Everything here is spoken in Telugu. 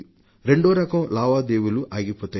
రెండో రకం లావాదేవీలు ఆగిపోతాయి